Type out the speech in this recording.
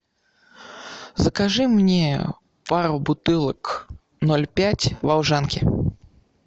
закажи мне пару бутылок ноль пять волжанки